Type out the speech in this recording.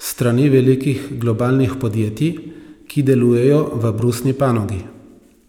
s strani velikih globalnih podjetij, ki delujejo v brusni panogi.